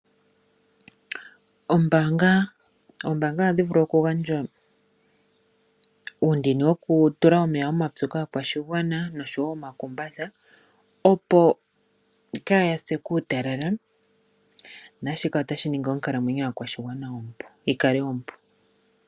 Oombaanga ohadhi vulu okugandja uundini wokutula emeya omapyu kaakwashigwa nosho wo omakutha opo kaaya se kuutalala, na shika ota shi ningi onkalamwenyo yaakwashigwana yi kale ompu.